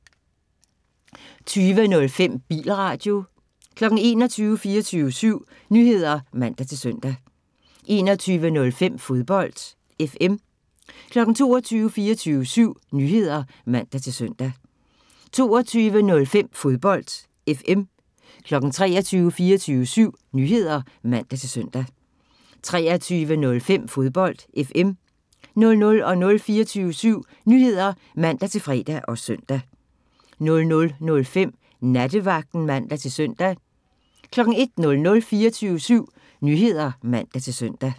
20:05: Bilradio 21:00: 24syv Nyheder (man-søn) 21:05: Fodbold FM 22:00: 24syv Nyheder (man-søn) 22:05: Fodbold FM 23:00: 24syv Nyheder (man-søn) 23:05: Fodbold FM 00:00: 24syv Nyheder (man-fre og søn) 00:05: Nattevagten (man-søn) 01:00: 24syv Nyheder (man-søn)